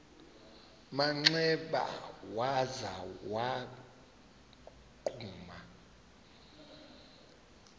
manxeba waza wagquma